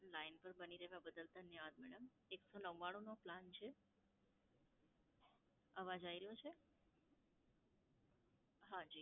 line પર બની રહેવા બદલ ધન્યવાદ madam. એકસો નવ્વાણું નો plan છે. અવાજ આઈ રયો છે? હાં જી.